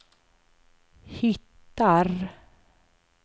hittar